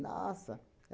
Nossa!